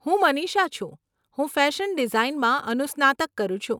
હું મનીષા છું, હું ફેશન ડીઝાઈનમાં અનુસ્નાતક કરું છું.